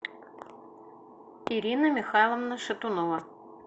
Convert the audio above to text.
ирина михайловна шатунова